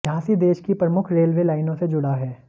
झांसी देश की प्रमुख रेलवे लाइनों से जुडा है